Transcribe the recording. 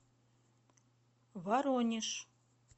воронеж